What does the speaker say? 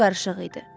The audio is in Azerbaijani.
Başı qarışıq idi.